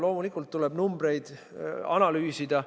Loomulikult tuleb numbreid analüüsida.